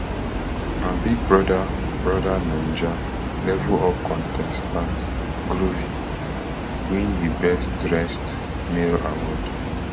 na big brother brother naija level up contestant groovy win di best dressed male award